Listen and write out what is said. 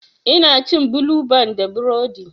Ina cin bulu ban da burodi.